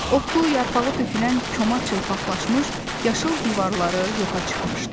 Otu, yarpağı tökülən koma çılpaqlaşmış, yaşıl divarları yoxa çıxmışdı.